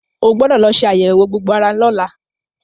O gbọ́dọ̀ lọ ṣe àyẹ̀wò gbogbo ara lọ́la.